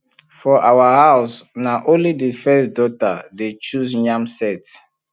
for our house na only the first daughter dey choose yam sett